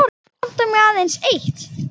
Nú vantar mig aðeins eitt!